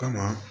Ka na